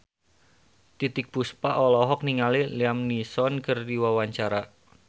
Titiek Puspa olohok ningali Liam Neeson keur diwawancara